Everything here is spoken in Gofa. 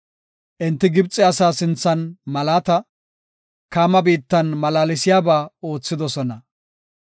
Enti Gibxe asaa sinthan malaata, Kaama biittan malaalsiyaba oothidosona.